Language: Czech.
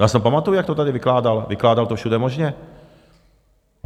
Já si pamatuju, jak to tady vykládal, vykládal to všude možně.